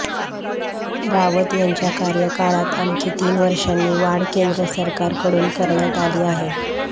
रावत यांच्या कार्यकाळात आणखी तीन वर्षांनी वाढ केंद्र सरकारकडून करण्यात आली आहे